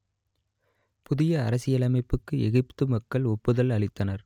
புதிய அரசியலமைப்புக்கு எகிப்து மக்கள் ஒப்புதல் அளித்தனர்